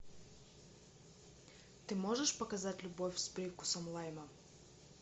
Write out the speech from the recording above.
ты можешь показать любовь с привкусом лайма